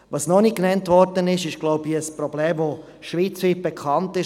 Was noch nicht erwähnt wurde und was, glaube ich, ein schweizweit bekanntes Problem ist: